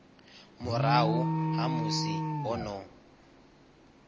murahu ha musi ho no